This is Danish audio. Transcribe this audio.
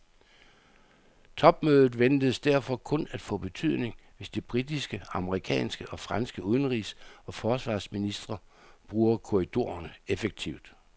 Topmødet ventes derfor kun at få betydning, hvis de britiske, amerikanske og franske udenrigs og forsvarsministre bruger korridorerne effektivt.